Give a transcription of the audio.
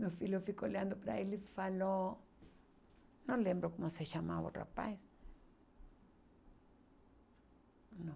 Meu filho ficou olhando para ele e falou, não lembro como se chamava o rapaz.